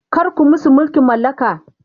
kar ku musu mulkin mallaka!